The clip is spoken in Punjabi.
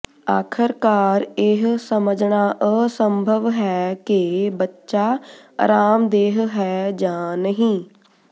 ਆਖ਼ਰਕਾਰ ਇਹ ਸਮਝਣਾ ਅਸੰਭਵ ਹੈ ਕਿ ਬੱਚਾ ਅਰਾਮਦੇਹ ਹੈ ਜਾਂ ਨਹੀਂ